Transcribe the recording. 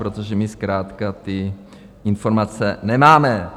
Protože my zkrátka ty informace nemáme.